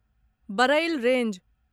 Barail range